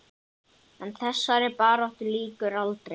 En þessari baráttu lýkur aldrei.